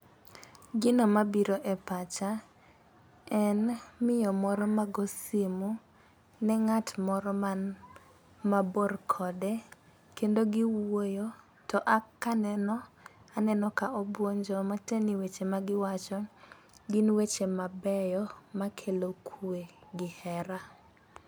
Gino mabiro e pacha en miyo moro mago simu ne ng'at moro man mabor kode kendo giwuoyo to a kaneno aneno ka obuonjo. Matiende ni weche ma giwacho gin weche mabeyo gin weche mabeyo makelo kwe gi hera.